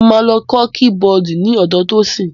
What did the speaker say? Mo máa lọ kọ́ kí-bọọ̀dù ní ọ̀dọ Tosin.